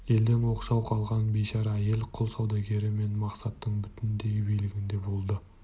елден оқшау қалған бейшара әйел құл саудагері мен мақсаттың бүтіндей билігінде болды